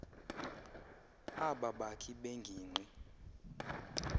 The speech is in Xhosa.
aba bakhi bengingqi